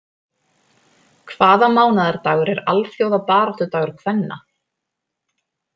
Hvaða mánaðardagur er alþjóðabaráttudagur kvenna?